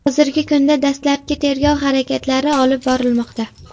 Hozirgi kunda dastlabki tergov harakatlari olib borilmoqda.